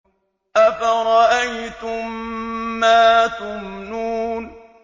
أَفَرَأَيْتُم مَّا تُمْنُونَ